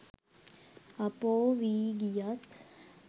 අපෝ වී ගියත්